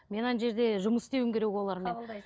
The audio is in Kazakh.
мен ана жерде жұмыс істеуім керек олармен